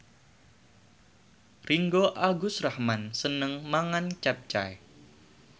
Ringgo Agus Rahman seneng mangan capcay